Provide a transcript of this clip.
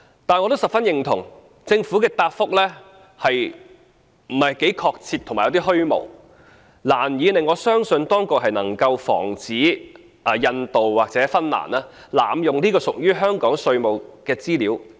但是，我十分認同，政府的答覆不是很確切和有點虛無，難以令我相信當局能夠防止印度或芬蘭濫用這些屬於香港的稅務資料。